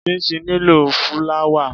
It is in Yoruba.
Chinchin nílò fúláwà.